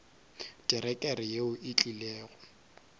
terekere yeo e tlile go